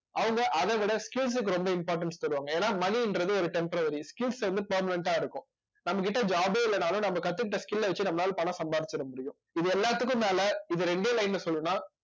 அவங்க அதை விட skills க்கு ரொம்ப importance தருவாங்க ஏன்னா money ன்றது ஒரு temporary வந்து permanent ஆ இருக்கும் நம்மகிட்ட job ஏ இல்லைன்னாலும் நம்ம கத்துக்கிட்ட skill ஐ வச்சு நம்மளால பணம் சம்பாரிச்சிட முடியும் இது எல்லாத்துக்கும் மேல இது இரண்டே line ல சொல்லணும்ன்னா